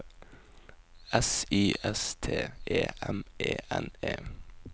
S Y S T E M E N E